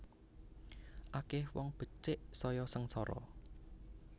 Akeh wong becik saya sengsara